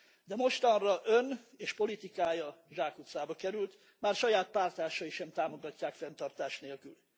De mostanra ön és politikája zsákutcába került, már saját párttársai sem támogatják fenntartás nélkül.